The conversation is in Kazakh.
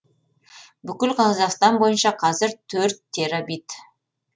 бүкіл қазақстан бойынша қазір төрт терабит